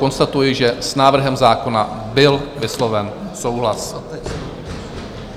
Konstatuji, že s návrhem zákona byl vysloven souhlas.